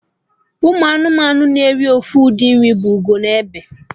Ụmụ nnụnụ na-eri ofu ụdị nri bụ Ugo na Egbe